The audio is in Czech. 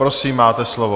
Prosím, máte slovo.